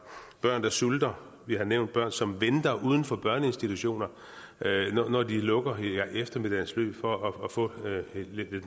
børn sulter vi har nævnt børn som venter uden for børneinstitutioner når de lukker i eftermiddagens løb for at få lidt af